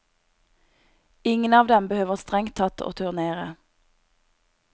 Ingen av dem behøver strengt tatt å turnere.